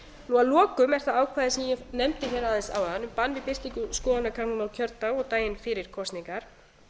að lokum er það ákvæði sem ég nefndi hér aðeins áðan bann við birtingu skoðanakannana á kjördag og daginn fyrir kosningar